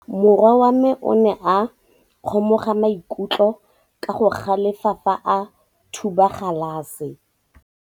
Morwa wa me o ne a kgomoga maikutlo ka go galefa fa a thuba galase.